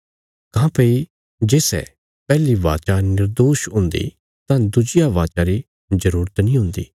काँह्भई जे सै पैहली वाचा निर्दोष हुन्दी तां दुज्जिया वाचा री जरूरत नीं हुन्दी